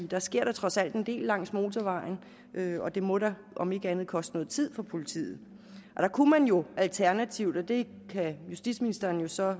der sker da trods alt en del langs motorvejen og det må da om ikke andet koste noget tid for politiet der kunne man jo alternativt og det kan justitsministeren så